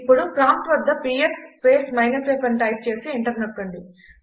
ఇప్పుడు ప్రాంప్ట్ వద్ద PS space minus f అని టైప్ చేసి ఎంటర్ నొక్కండి